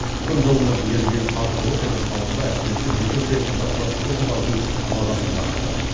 күн жылынып еріген қар суы петропавлда әсіресе жеке секторда тұратын тұрғындардың мазасын қашырды